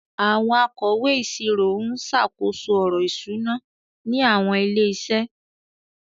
Àwọn akọ̀wé ìṣirò ń ṣàkóso ọ̀rọ̀ ìṣúná ní àwọn ilé-iṣẹ́.